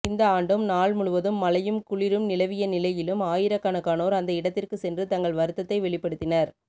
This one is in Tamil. இந்த ஆண்டும் நாள் முழுவதும் மழையும் குளிரும் நிலவிய நிலையிலும் ஆயிரக்கணக்கானோர் அந்த இடத்திற்கு சென்று தங்கள் வருத்தத்தை வெளிப்படுத்தினர்